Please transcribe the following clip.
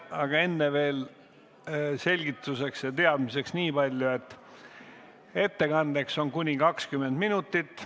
Aga enne veel selgituseks ja teadmiseks nii palju, et ettekandeks on aega kuni 20 minutit.